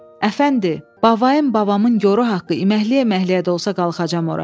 Əfəndi, babayım babamın yoru haqqı əməkliyə-əməkliyə də olsa qalxacam ora.